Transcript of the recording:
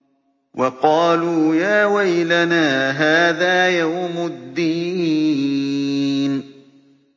وَقَالُوا يَا وَيْلَنَا هَٰذَا يَوْمُ الدِّينِ